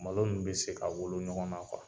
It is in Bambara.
Malo min be se ka wolo ɲɔgɔn na kuwa